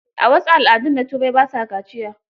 A wasu al'adun na Turai, ba sa kaciya.